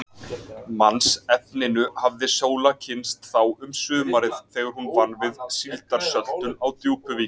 Mannsefninu hafði Sóla kynnst þá um sumarið, þegar hún vann við síldarsöltun á Djúpuvík.